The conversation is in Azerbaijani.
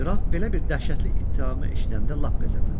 Qraf belə bir dəhşətli ittihamı eşidəndə lap qəzəblənir.